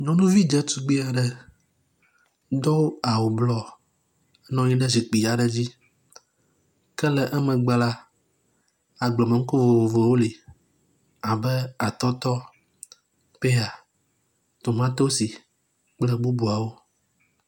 Nyɔnuvi ɖetugbi aɖe do awu blɔ nɔ anyi ɖe zikpui aɖe dzi ke le emegbe la, agblemenuku vovovowo li abe atɔtɔ, peya, tomatosi kple bubuawo.